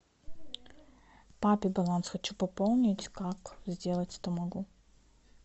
папе баланс хочу пополнить как сделать это могу